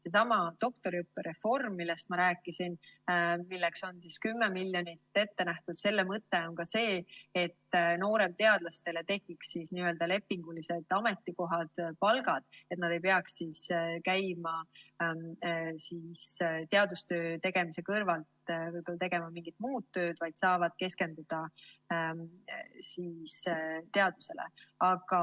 Sellesama doktoriõppe reformi mõte, millest ma rääkisin, milleks on 10 miljonit ette nähtud, on ka see, et nooremteadlastel tekiks lepingulised ametikohad ja palgad, et nad ei peaks tegema teadustöö kõrvalt mingit muud tööd, vaid saaksid keskenduda teadusele.